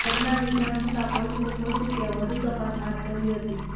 ઘટનાની જાણ થતાં પોલીસે પહોંચી વધુ તપાસ હાથ ધરી હતી